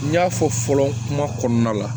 N y'a fɔ fɔlɔ kuma kɔnɔna la